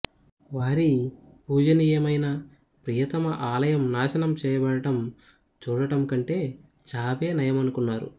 వారి పూజనీయమైన ప్రియతమ ఆలయం నాశనం చేయబడటం చూడటం కంటే చావే నయమనుకున్నారు